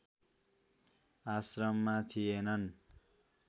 आश्रममा थिएनन्